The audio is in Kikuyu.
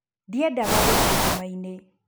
Ndiendaga gũthiĩ nduma-inĩ